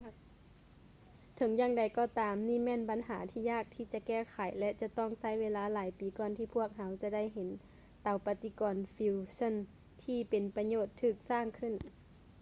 ເຖິງຢ່າງໃດກໍ່ຕາມ ນີ້ແມ່ນບັນຫາທີ່ຍາກທີ່ຈະແກ້ໄຂ ແລະ ຈະຕ້ອງໃຊ້ເວລາຫຼາຍປີກ່ອນທີ່ພວກເຮົາຈະໄດ້ເຫັນເຕົາປະຕິກອນຟີວເຊີ່ນ ທີ່ເປັນປະໂຫຍດຖືກສ້າງຂຶ້ນ